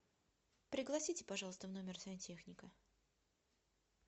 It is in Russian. пригласите пожалуйста в номер сантехника